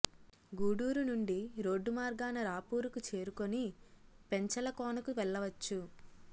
గూడురు నుండి రోడ్దు మార్గాన రాపూరుకు చెరుకోని పెంచల కోనకు వెళ్లవచ్చు